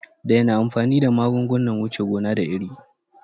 Daina amfani da magungunan wuce gona da iri